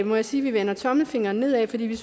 må jeg sige vi vender tommelfingeren nedad fordi vi